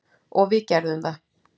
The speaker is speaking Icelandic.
Og við gerðum það.